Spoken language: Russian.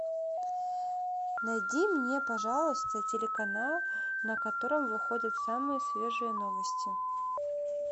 найди мне пожалуйста телеканал на котором выходят самые свежие новости